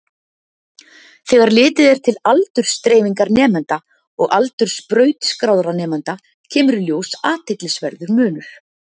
Þegar litið er til aldursdreifingar nemenda og aldurs brautskráðra nemenda kemur í ljós athyglisverður munur.